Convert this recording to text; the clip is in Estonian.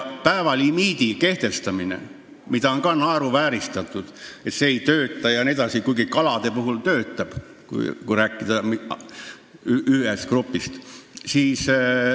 Päevalimiidi kehtestamist ei taheta, seda on ka naeruvääristatud, et see ei tööta jne, kuigi kalade puhul töötab, kui rääkida ühest grupist.